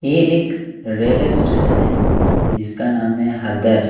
ये एक railway station है जिसका नाम है हदर---